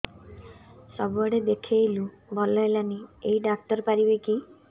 ସବୁଆଡେ ଦେଖେଇଲୁ ଭଲ ହେଲାନି ଏଇ ଡ଼ାକ୍ତର ପାରିବେ କି